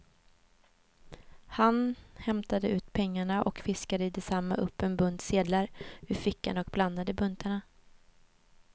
Han hämtade ut pengarna och fiskade i detsamma upp en bunt sedlar ur fickan och blandade buntarna.